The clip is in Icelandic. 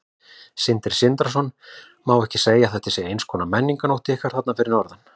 Sindri Sindrason: Má ekki segja að þetta sé eins konar menningarnótt ykkar þarna fyrir norðan?